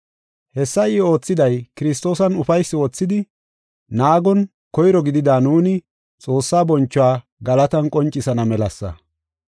Hessa I oothiday, Kiristoosan ufaysi wothidi naagon koyro gidida nuuni Xoossaa bonchuwa galatan qoncisana melasa.